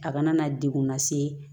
A kana na degun lase